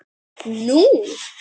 Nú?